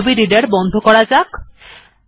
তাহলে Adobe reader বন্ধ করা যাক